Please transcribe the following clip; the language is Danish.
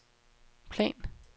plan